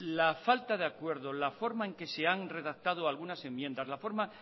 la faltade acuerdo la forma en que se han redactado algunas enmiendas la forma